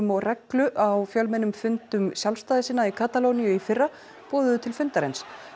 og reglu á fjölmennum fundum sjálfstæðissinna í Katalóníu í fyrra boðuðu til fundarins